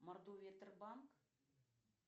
мордовия банк